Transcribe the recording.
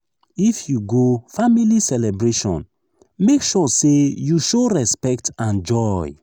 if you go family celebration make sure say you show respect and joy.